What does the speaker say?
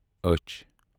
أچھ